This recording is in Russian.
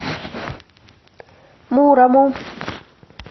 мурому